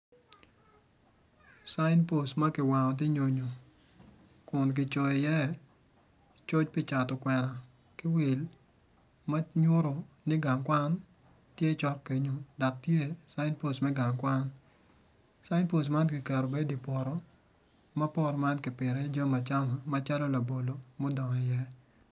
Sign post ma kiwango tye nyonyo kun kicoyo iye coc pi cato kwena ki wil ma nyuto ni gang kwan tye cok kenyo dok tye gang kwan sign post man ma poto man kipito iye jami acama macalo labolo mudongo iye.